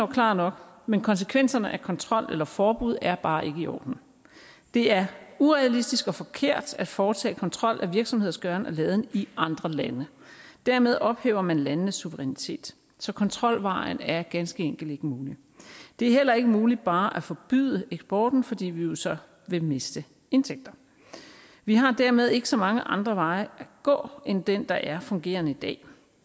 klar nok men konsekvenserne af kontrol eller forbud er bare ikke i orden det er urealistisk og forkert at foretage kontrol af virksomheders gøren og laden i andre lande dermed ophæver man landenes suverænitet så kontrolvejen er ganske enkelt ikke mulig det er heller ikke muligt bare at forbyde eksporten fordi vi jo så vil miste indtægterne vi har dermed ikke så mange andre veje at gå end den der er fungerende i dag